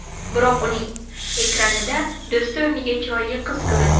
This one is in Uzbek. Biroq uning ekranida do‘sti o‘rniga chiroyli qiz ko‘rindi.